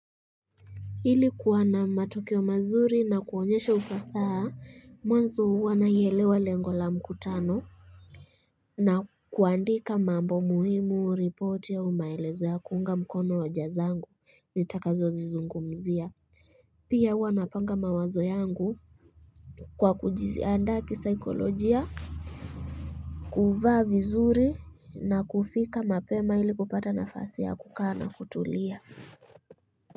Ili kuwa na matokeo mazuri na kuonyesha ufasaha mwanzo huwa naielewa lengo la mkutano na kuandika mambo muhimu report au maelezo ya kuunga mkono hoja zangu nitakazozizungumzia pia huwa napanga mawazo yangu Kwa kujiandaa kisaikolojia kuvaa vizuri na kufika mapema ili kupata nafasi ya kukaa na kutulia.